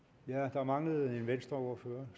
der mangler en venstreordfører